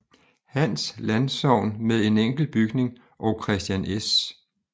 Hans Landsogn med en enkelt bygning og Kristian S